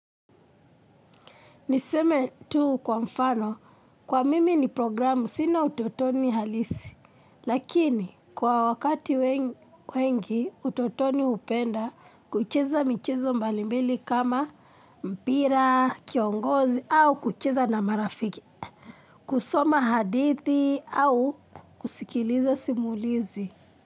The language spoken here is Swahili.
Niseme tu kwa mfano, kwa mimi ni programu sina utotoni halisi, lakini kwa wakati wengi utotoni hupenda kucheza michezo mbalimbili kama mpira, kiongozi au kucheza na marafiki, kusoma hadithi au kusikiliza simulizi.